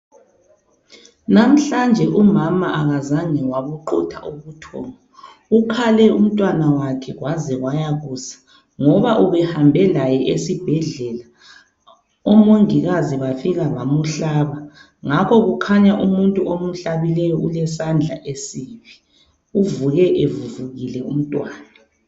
Namhlanje umama kazange wabuqutha ubuthongo. Ukhale umntwana wakhe kwaze kwayakusa, ngoba ubehambe laye esibhedlela omongikazi bafika bamhlaba. Ngakho kukhanya umuntu omhlabileyo ulesandla esibi. Uvuke evuvukile umntwana.